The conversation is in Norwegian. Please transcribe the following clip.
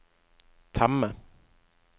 temme